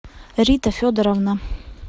рита федоровна